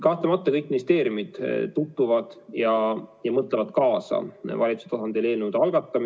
Kahtlemata kõik ministeeriumid mõtlevad eelnõude algatamisel valitsuse tasandil kaasa.